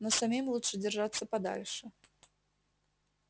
но самим лучше держаться подальше